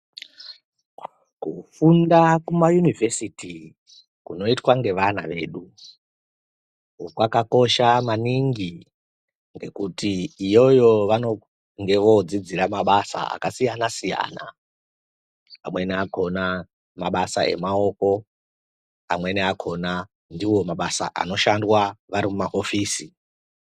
Kufunda kumayunivhesiti kunoitwa ngevana vedu kwakakosha maningi ngekuti iyoyo vanenge vodzidzira mabasa akasiyana-siyana, Amweni akona mabasa emaoko, amweni akona ndiwo mabasa anoshandwa vari mumaofisi.